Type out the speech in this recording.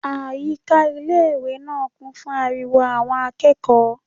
Àyíká ilé-ìwé náà kún fún ariwo àwọn akẹ́kọ̀ọ́